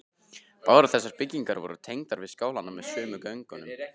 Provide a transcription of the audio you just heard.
Báðar þessar byggingar voru tengdar við skálann með sömu göngunum.